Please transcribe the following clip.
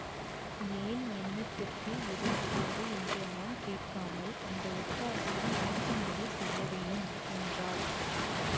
ஏன் என்னத்திற்கு எதற்காக என்றெல்லாம் கேட்காமல் அந்த ஒத்தாசையை எனக்கு நீங்கள் செய்யவேணும் என்றாள்